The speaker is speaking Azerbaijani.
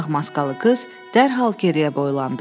Ağ maskalı qız dərhal geriyə boylandı.